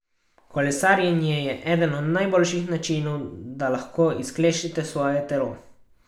Kolesarjenje je eden od najboljših načinov, da lahko izklešete svoje telo.